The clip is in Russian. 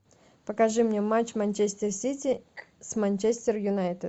покажи мне матч манчестер сити с манчестер юнайтед